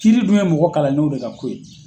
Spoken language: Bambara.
Kiiri dun ye mɔgɔ kalanninw de ka ko ye.